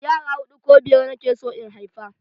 Yara huɗu ko biyar nake so in haifa